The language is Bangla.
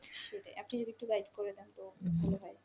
সেটাই, আপনি যদি একটু guide করে দেন তো ভালো হয় আরকি।